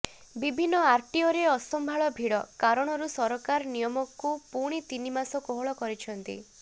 ବିଭିନ୍ନ ଆରଟିଓରେ ଅସମ୍ଭାଳ ଭିଡ କାରଣରୁ ସରକାର ନିୟମକୁ ପୁଣି ତିନି ମାସ କୋହଳ କରିଛନ୍ତି